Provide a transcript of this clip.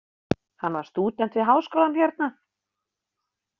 Hann var stúdent við Háskólann hérna.